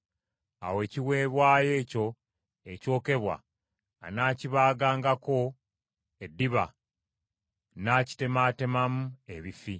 Awo ekiweebwayo ekyo ekyokebwa anaakibaagangako eddiba, n’akitemaatemamu ebifi.